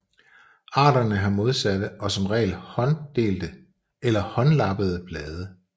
Arterne har modsatte og som regel hånddelte eller håndlappede blade